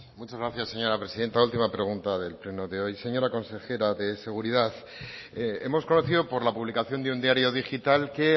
muchas gracias señora presidenta última pregunta del pleno de hoy señora consejera de seguridad hemos conocido por la publicación de un diario digital que